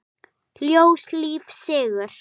Ljós, líf, sigur.